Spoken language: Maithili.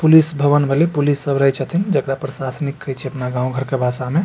पुलिस भवन भेले पुलिस सब रहे छथिन जेकरा प्रसाशनिक कहे छीये अपना गांव घर के भाषा में।